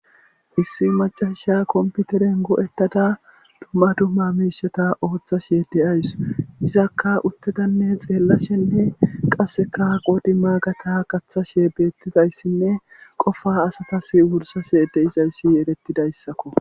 issi macasha komputeren go7ettada dumma dumma miishata ooththa she deyays izakka uttedanne xeellashenne qasseka qodi maagata qathashe beettidayssinne qofa asatas wursashe de isayssi yerettidayssakko